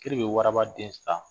Kiri bɛ waraba den san